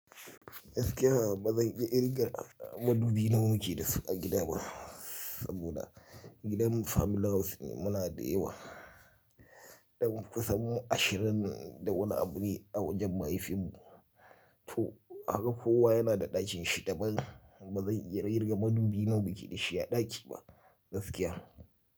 Gaskiya ba zan iya kirga madubi na muke dasu a gida ba saboda gidan family house ne muna da yawa. Ɗan kusan mu ashirin da wani abu ne a wajen mahaifinmu to kaga kowa yana da ɗakin shi da ba zan iya kirga madubi na muke da shi a ɗaki ba gaskiya.